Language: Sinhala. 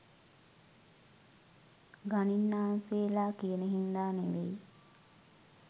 ගණින්නාන්සේලා කියන හින්දා නෙවෙයි.